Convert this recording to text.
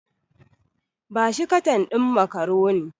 Ba shi katan ɗin macaroni.